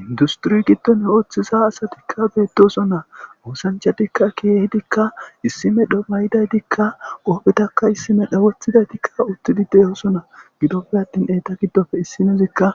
Inddusththure giddon ooththiza asathikka beeththoosona; oosanchchatikka keehidikka issi medho mayida ethikka huuphen issi medho woththida ethikka uththidi de7oosona;gidoppe aththin eetha giddoppe issinozikka